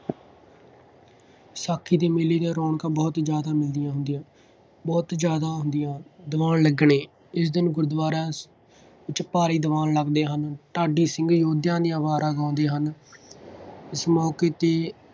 ਵਿਸਾਖੀ ਦੇ ਮੇਲੇ ਦੀਆਂ ਰੌਣਕਾਂ ਬਹੁਤ ਜ਼ਿਆਦਾ ਮਿਲਦੀਆਂ ਹੁੰਦੀਆਂ, ਬਹੁਤ ਜ਼ਿਆਦਾ ਹੁੰਦੀਆਂ। ਦੀਵਾਨ ਲੱਗਣੇ, ਇਸ ਦਿਨ ਗੁਰੂਦੁਆਰਾ ਵਿੱਚ ਭਾਰੀ ਦੀਵਾਨ ਲੱਗਦੇ ਹਨ। ਢਾਡੀ ਸਿੰਘ ਯੋਧਿਆਂ ਦੀਆਂ ਵਾਰਾਂ ਗਾਉਂਦੇ ਹਨ। ਇਸ ਮੌਕੇ 'ਤੇ